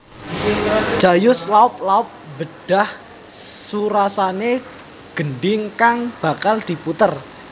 Jayus laop laop mbedhah surasane gendhing kang bakal diputer